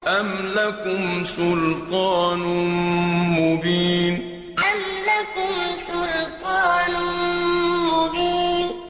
أَمْ لَكُمْ سُلْطَانٌ مُّبِينٌ أَمْ لَكُمْ سُلْطَانٌ مُّبِينٌ